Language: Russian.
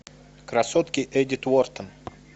красотки эдит уортон